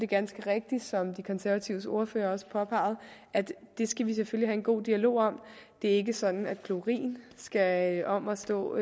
ganske rigtigt som de konservatives ordfører også påpegede at det skal vi selvfølgelig have en god dialog om det er ikke sådan at klorin skal om at stå